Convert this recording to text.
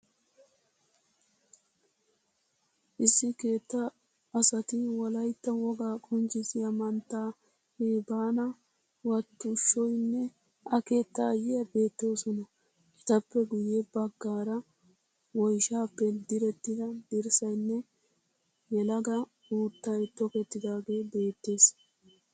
Issi keettaa asati wolayitta wogaa qonccissiya mantta Heebana Wattuushoyinne a keettayiya beettoosona. Etappe guyye baggaara woyishshaappe direttida dirssayinne yelaga uuttayi tokettidagee beettees.